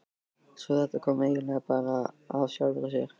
Svo þetta kom eiginlega bara af sjálfu sér.